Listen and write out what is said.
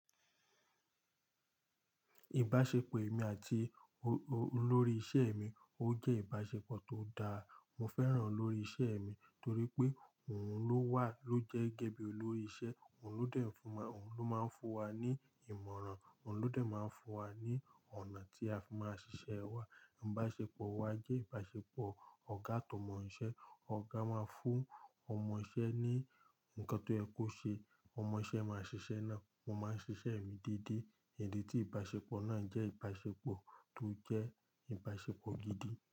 Ìbáṣepọ̀ èmi àti olórí ìṣe mi ó jẹ́ ìbáṣepọ̀ tó dáa. Mo fẹ́ràn olórí ìṣe mi torí pé òun ló wà ló jẹ́ gẹ́gẹ́ bí olórí ìṣe, òun ló dẹ̀ fun wa, òun ló máa ń fún wa ní ìmọ̀ràn, òun ló dẹ̀ máa ń fún wa ní ọ̀nà tí a fi máa ṣiṣẹ́ wa. Ìbáṣepọ̀ wa jẹ́ ìbáṣepọ̀ ọ̀gá atómọ iṣẹ́. Ọ̀gá máa ń fún ọmọ iṣẹ́ ní nǹkan tó yẹ kó ṣe, ọmọ iṣẹ́ máa ṣiṣẹ́ náà. Mo máa ń ṣiṣẹ́ mi dédé. Idi tí ìbáṣepọ̀ náà jẹ́ ìbáṣepọ̀ tó jẹ́ ìbáṣepọ̀ gidi.